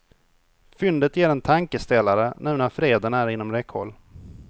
Fyndet ger en tankeställare nu när freden är inom räckhåll.